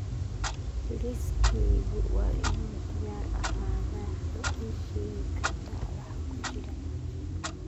Liiskaygu waa inuu diyaar ahaadaa ma ii sheegi kartaa waxa ku jira